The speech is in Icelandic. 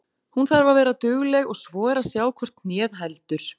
Hún þarf að vera dugleg og svo er að sjá hvort hnéð heldur.